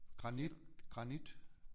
Granit granit